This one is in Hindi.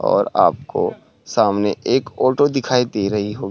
और आपको सामने एक ऑटो दिखाई दे रही हो --